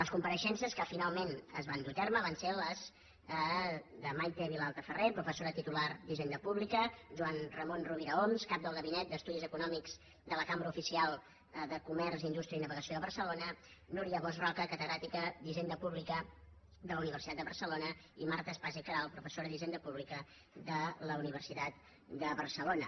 les compareixences que finalment es van dur a terme van ser les de maite vilalta ferrer professora titular d’hisenda pública joan ramon rovira homs cap del gabinet d’estudis econòmics de la cambra oficial de comerç indústria i navegació de barcelona núria bosch roca catedràtica d’hisenda pública de la universitat de barcelona i marta espasa i queralt professora d’hisenda pública de la universitat de barcelona